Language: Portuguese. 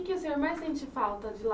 Que o senhor mais sente falta de lá?